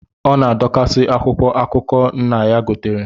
Ọ na-adọkasị akwụkwọ akụkọụwa nna ya gotere